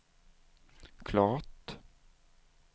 klart